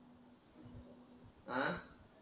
आ